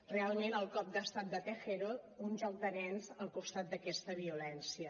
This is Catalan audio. realment el cop d’estat de tejero un joc de nens al costat d’aquesta violència